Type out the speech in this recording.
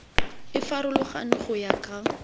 e farologane go ya ka